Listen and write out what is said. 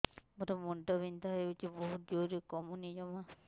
ମୋର ମୁଣ୍ଡ ବିନ୍ଧା ହଉଛି ବହୁତ ଜୋରରେ କମୁନି ଜମା